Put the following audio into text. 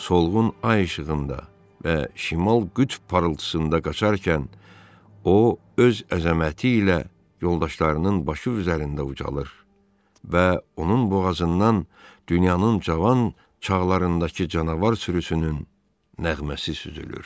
Solğun ay işığında və şimal qütb pıltısında qaçarkən o öz əzəməti ilə yoldaşlarının başı üzərində ucalır və onun boğazından dünyanın cavan çağlarındakı canavar sürüsünün nəğməsi süzülür.